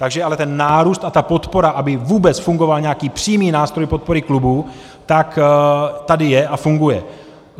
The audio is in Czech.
Takže ale ten nárůst a ta podpora, aby vůbec fungoval nějaký přímý nástroj podpory klubů, tak tady je a funguje.